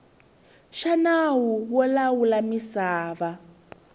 xa nawu wo lawula misava